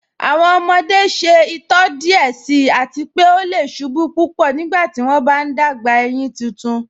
Awọn ọmọde ṣẹ itọ díẹ̀ síì àti pé ọ lẹ̀ ṣubú púpọ́ nígbàtí wọn bá n gbà éyin títún.